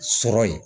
Sɔrɔ ye